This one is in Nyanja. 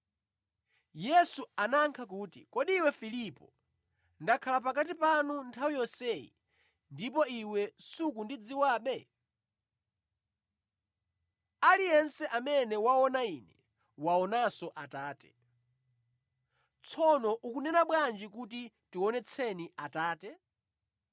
Yesu anayankha kuti, “Kodi iwe Filipo, ndakhala pakati panu nthawi yonseyi ndipo iwe sukundidziwabe? Aliyense amene waona Ine, waonanso Atate. Tsono ukunena bwanji kuti, ‘Tionetseni Atate?’